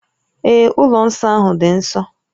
Ee, ụlọ nsọ ahụ dị nsọ